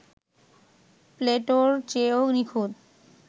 প্লেটোর চেয়েও নিখুঁত